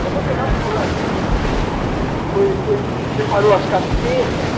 Ela foi pegar um colarzinho do corinthians, separou as camisetas.